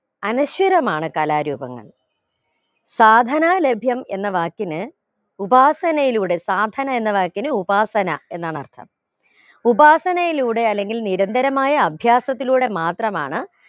അനശ്വരമാണ് കലാരൂപങ്ങൾ സാധനാ ലഭ്യം എന്ന വാക്കിന് ഉപാസനയുടെ സാധനാ എന്ന വാക്കിന് ഉപാസന എന്നാണർത്ഥം ഉപാസനയുടെ അല്ലെങ്കിൽ നിരന്തരമായ അഭ്യാസത്തിലൂടെ മാത്രമാണ്